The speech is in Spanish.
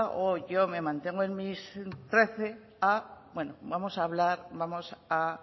o yo me mantengo en mis trece a vamos a hablar vamos a